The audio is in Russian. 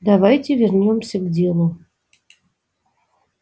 давайте вернёмся к делу